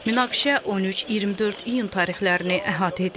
Münaqişə 13-24 iyun tarixlərini əhatə edir.